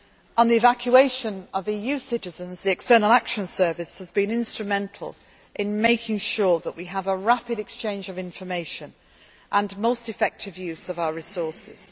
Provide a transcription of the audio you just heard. FRONTEX. On the evacuation of EU citizens, the External Action Service has been instrumental in making sure that we have a rapid exchange of information and most effective use of